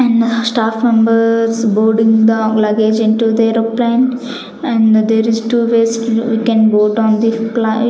and staff members boarding the luggage into the aeroplane and there is two ways you can go town the --